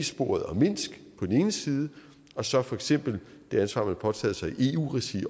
sporet og minsk på den ene side og så for eksempel det ansvar man har påtaget sig i eu regi